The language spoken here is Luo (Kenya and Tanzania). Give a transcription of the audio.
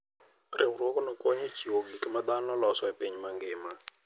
Riwruogno konyo e chiwo gik ma dhano loso e piny mangima.